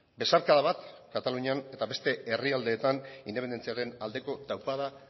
besarkada bat katalunian eta beste herrialdeetan independentziaren aldeko taupada